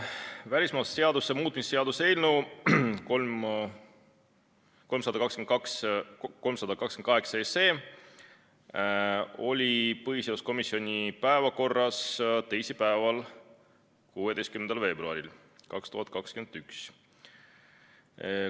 Välismaalaste seaduse muutmise seaduse eelnõu 328 oli põhiseaduskomisjoni päevakorras teisipäeval, 16. veebruaril 2021.